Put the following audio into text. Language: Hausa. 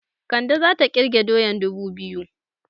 Kande zata ƙirge doyan dubu biyu